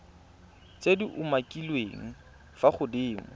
tse di umakiliweng fa godimo